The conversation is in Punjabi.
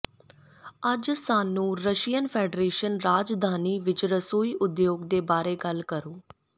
ਅੱਜ ਸਾਨੂੰ ਰਸ਼ੀਅਨ ਫੈਡਰੇਸ਼ਨ ਰਾਜਧਾਨੀ ਵਿਚ ਰਸੋਈ ਉਦਯੋਗ ਦੇ ਬਾਰੇ ਗੱਲ ਕਰੋ